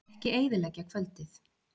Ekki eyðileggja kvöldið.